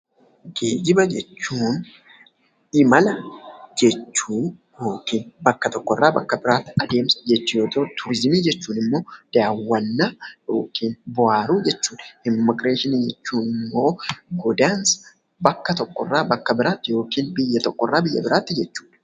Geejjiba jechuun imala jechuu yookiin bakka tokkorraa bakka biraa adeemsa jechuu yoo ta'u, turizimii jechuun immoo daawwannaa yookiin bohaaruu jechuudha. Immigireeshinii jechuun immoo godaansa bakka tokkorraa bakka biraatti yookiin biyya tokkorraa biyya biraatti jechuudha.